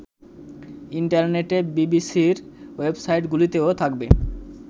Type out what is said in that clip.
ইন্টারনেটে বিবিসির ওয়েবসাইটগুলিতেও থাকবে